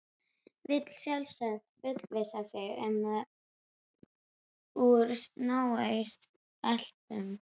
Vill sjálfsagt fullvissa sig um að úr náist bletturinn.